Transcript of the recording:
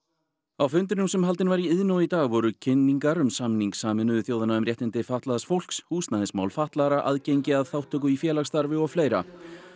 á fundinum sem haldinn var í Iðnó í dag voru kynningar um samning Sameinuðu þjóðanna um réttindi fatlaðs fólks húsnæðismál fatlaðra aðgengi að þátttöku í félagsstarfi og fleira